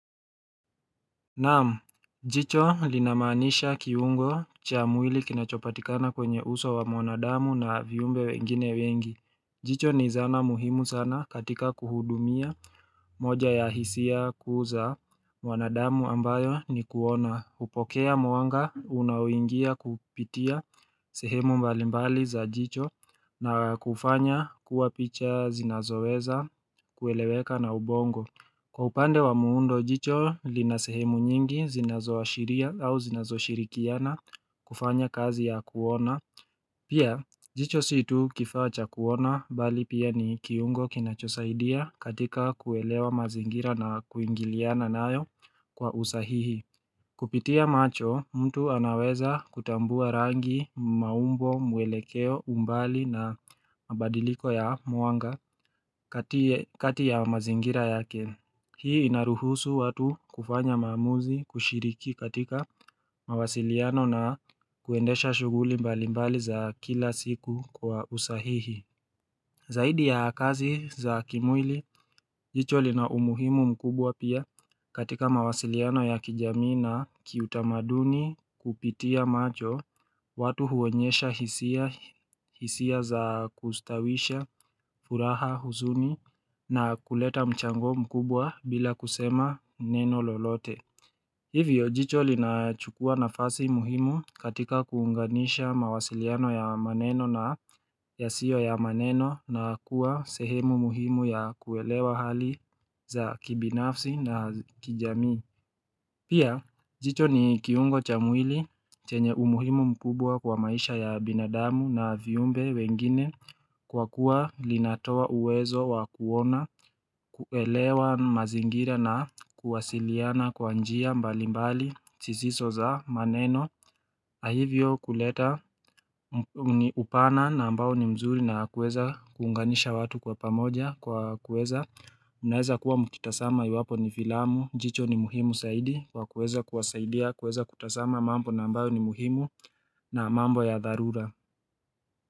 Naam, jicho linamaanisha kiungo cha mwili kinachopatikana kwenye uso wa mwanadamu na viumbe wengine wengi jicho ni zana muhimu sana katika kuhudumia moja ya hisia kuu za mwanadamu ambayo ni kuona hupokea mwanga unaoingia kupitia sehemu mbalimbali za jicho na kufanya kuwa picha zinazoweza kueleweka na ubongo Kwa upande wa muundo, jicho lina sehemu nyingi zinazo ashiria au zinazoshirikiana kufanya kazi ya kuona. Pia, jicho si tu kifaa cha kuona bali pia ni kiungo kinachosaidia katika kuelewa mazingira na kuingiliana nayo kwa usahihi. Kupitia macho, mtu anaweza kutambua rangi, maumbo, mwelekeo, umbali na mabadiliko ya mwanga kati ya mazingira yake. Hii inaruhusu watu kufanya maamuzi kushiriki katika mawasiliano na kuendesha shughuli mbalimbali za kila siku kwa usahihi. Zaidi ya kazi za kimwili, jicho lina umuhimu mkubwa pia katika mawasiliano ya kijamii na kiutamaduni kupitia macho, watu huonyesha hisia za kustawisha furaha huzuni na kuleta mchango mkubwa bila kusema neno lolote. Hivyo, jicho linachukua nafasi muhimu katika kuunganisha mawasiliano ya maneno na yasio ya maneno na kuwa sehemu muhimu ya kuelewa hali za kibinafsi na kijamii. Pia, jicho ni kiungo cha mwili chenye umuhimu mkubwa kwa maisha ya binadamu na viumbe wengine kwa kuwa linatoa uwezo wa kuona, kuelewa mazingira na kuwasiliana kwa njia mbali mbali, zisizo za maneno. Na hivyo kuleta upana na ambao ni mzuri na kueza kuunganisha watu kwa pamoja kwa kueza Unaeza kuwa mkitazama iwapo ni filamu, jicho ni muhimu zaidi Kwa kueza kuwasaidia, kueza kutazama mambo na ambayo ni muhimu na mambo ya dharura.